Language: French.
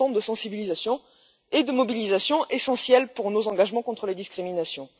C'est un temps de sensibilisation et de mobilisation essentiel pour nos engagements contre les discriminations.